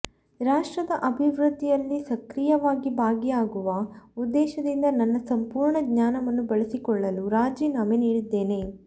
ರಾಷ್ಟ್ರದ ಅಭಿವೃದ್ಧಿಯಲ್ಲಿ ಸಕ್ರಿಯವಾಗಿ ಭಾಗಿಯಾಗುವ ಉದ್ದೇಶದಿಂದ ನನ್ನ ಸಂಪೂರ್ಣ ಜ್ಞಾನವನ್ನು ಬಳಸಿಕೊಳ್ಳಲು ರಾಜೀನಾಮೆ ನೀಡಿದ್ದೇನೆ